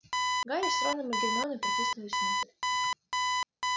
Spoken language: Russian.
гарри с роном и гермионой протиснулись внутрь